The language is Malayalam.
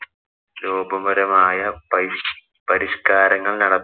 ദ്രോഹപരമായ പരിഷ് പരിഷ്കാരങ്ങള്‍ നടപ്പി